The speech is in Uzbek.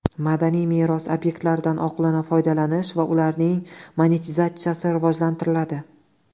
Madaniy meros obyektlaridan oqilona foydalanish va ularning monetizatsiyasi rivojlantiriladi.